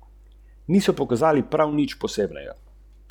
Naredite korak naprej, ta trenutek.